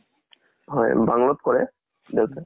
হয়, bungalow ত কৰে দেউতাই।